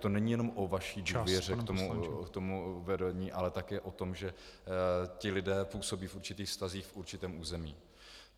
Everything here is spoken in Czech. To není jenom o vaší důvěře k tomu vedení, ale také o tom, že ti lidé působí v určitých vztazích v určitém území.